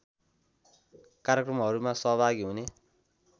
कार्यक्रमहरूमा सहभागी हुने